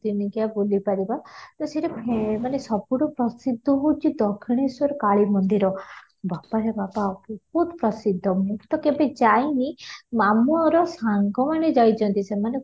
ଦିନିକିଆ ବୁଲି ପାରିବ ତ ସେଠି ମାନେ ସବୁଠୁ ପ୍ରସିଦ୍ଧ ହେଉଛି ଦକ୍ଷିଣେଶ୍ୱରୀ କାଳିମନ୍ଦିର ବାପାର ବାପା ବହୁତ ପ୍ରସିଦ୍ଧ ମୁଁ ତ କେବେ ଯାଇନି ମାମୁଁର ସାଙ୍ଗ ମାନେ ଯାଇଛନ୍ତି ସେମାନେ